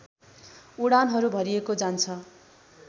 उडानहरू भरिएको जान्छ